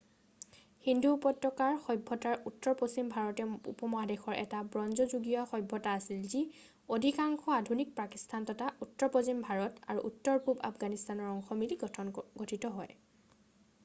সিন্ধু উপত্যকাৰ সভ্যতাৰ উত্তৰ পশ্চিম ভাৰতীয় উপমহাদেশৰ এটা ব্ৰঞ্জ যুগীয়া সভ্যতা আছিল যি অধিকাংশ আধুনিক পাকিস্তান তথা উত্তৰপশ্চিম ভাৰত আৰু উত্তৰ পূব আফগানিস্তানৰ অংশ মিলি গঠিন হৈছিল